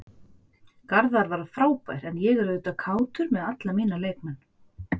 Garðar var frábær en ég er auðvitað kátur með alla mína leikmenn.